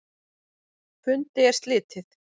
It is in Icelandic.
Fundi er slitið.